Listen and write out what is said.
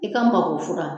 I ka mako fura